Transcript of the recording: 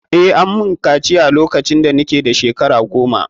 Eh, ammun kaciya lokacin ina shkara goma.